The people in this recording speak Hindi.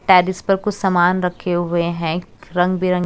शायद इस पर कुछ सामान रखे हुए हैं रंग बीरन--